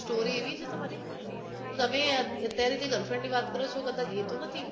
story એવી છે તમારી તમે યાર અતારે જે girlfriend ની વાત કરો છો કદાચ એ તો નથી